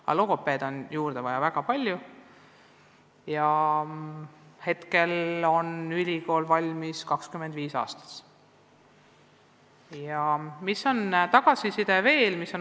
Aga logopeede on juurde vaja väga palju, praegu tuleb neid ülikoolist 25 igal aastal.